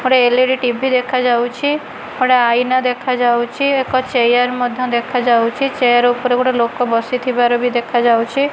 ଗୋଟେ LED TV ଦେଖାଯାଉଛି ଗୋଟେ ଆଇନା ଦେଖାଯାଉଛି ଏକ ଚେୟାର ମଧ୍ୟ ଦେଖାଯାଉଛି ଚେୟାର ଉପରେ ଗୋଟେ ଲୋକ ବସିଥିବାର ବି ଦେଖାଯାଉଛି।